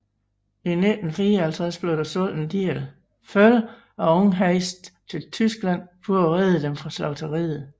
I 1954 blev der solgt en del føl og ungheste til Tyskland for at redde dem fra slagteriet